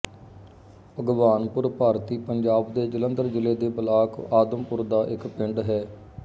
ਭਗਵਾਨਪੁਰ ਭਾਰਤੀ ਪੰਜਾਬ ਦੇ ਜਲੰਧਰ ਜ਼ਿਲ੍ਹੇ ਦੇ ਬਲਾਕ ਆਦਮਪੁਰ ਦਾ ਇੱਕ ਪਿੰਡ ਹੈ